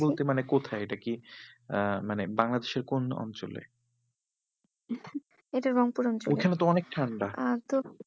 বলতে মানে কোথায় এটা কি আহ মানে বাংলাদেশের কোন অঞ্চলে? এটা রংপুর অঞ্চলে ওইখানে তো অনেক ঠান্ডা আহ তো